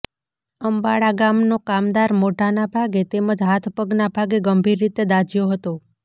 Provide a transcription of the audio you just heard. અંબાળા ગામ નો કામદાર મોઢાના ભાગે તેમજ હાથ પગના ભાગે ગંભીર રીતે દાઝયો હતો